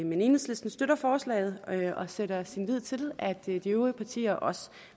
men enhedslisten støtter forslaget og sætter sin lid til at de øvrige partier også